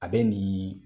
A bɛ nin